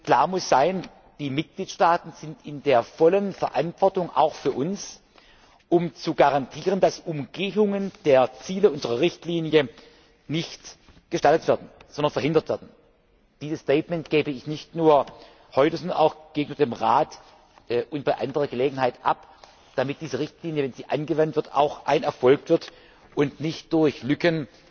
Klar muss sein Die Mitgliedstaaten sind in der vollen Verantwortung auch für uns, um zu garantieren, dass Umgehungen der Ziele unserer Richtlinie nicht gestattet, sondern verhindert werden. Dieses Statement gebe ich nicht nur heute, sondern auch gegenüber dem Rat und bei anderer Gelegenheit ab, damit diese Richtlinie, wenn sie angewendet wird, auch ein Erfolg wird und nicht durch Lücken